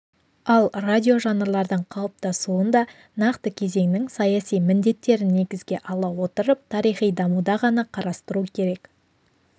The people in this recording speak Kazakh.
ал радиожанрлардың қалыптасуын да нақты кезеңнің саяси міндеттерін негізге ала отырып тарихи дамуда ғана қарастыру керек